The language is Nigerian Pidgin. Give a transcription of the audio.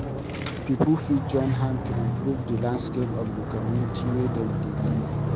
Pipo fit join hand to improve di landscape of the community wey dem dey live